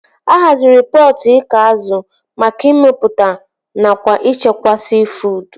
A haziri pọtụ iko azụ maka ịmepụta nakwa ịchekwa siifuud